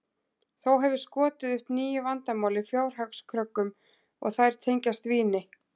Þó hefur skotið upp nýju vandamáli, fjárhagskröggum, og þær tengjast víni.